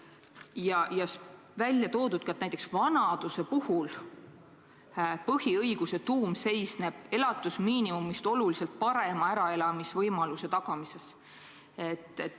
Samuti on välja toodud see, et näiteks vanaduse puhul seisneb põhiõiguse tuum elatusmiinimumist oluliselt parema äraelamisvõimaluse tagamises.